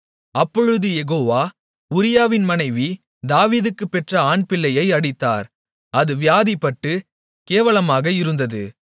அப்பொழுது யெகோவா உரியாவின் மனைவி தாவீதுக்குப் பெற்ற ஆண்பிள்ளையை அடித்தார் அது வியாதிப்பட்டுக் கேவலமாக இருந்தது